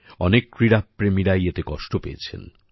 অনেক ক্রীড়াপ্রেমীরাই এতে কষ্ট পেয়েছেন